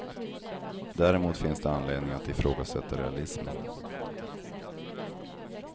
Däremot finns det anledning att ifrågasätta realismen.